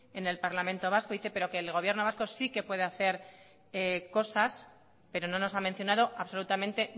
en el parlamento vasco pero que el gobierno vasco sí que puede hacer cosas pero no nos ha mencionado absolutamente